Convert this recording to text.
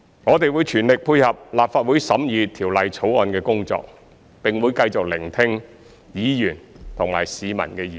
我們會全力配合立法會審議《條例草案》的工作，並會繼續聆聽議員及市民的意見。